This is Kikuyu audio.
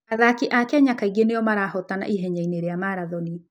Athaki a Kenya kaingĩ nĩo marahootana ihenya-inĩ rĩa marathon.